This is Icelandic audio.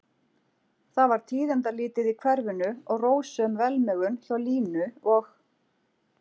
Það var tíðindalítið í hverfinu og rósöm velmegun hjá Línu og